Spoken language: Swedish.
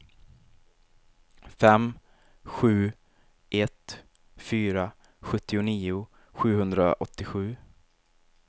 fem sju ett fyra sjuttionio sjuhundraåttiosju